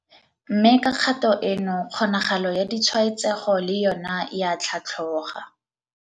Mme ka kgato eno kgonagalo ya ditshwaetsego le yona e a tlhatlhoga.